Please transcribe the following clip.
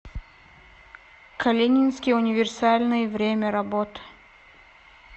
калининский универсальный время работы